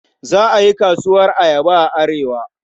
Za a yi kasuwar ayaba a Arewa.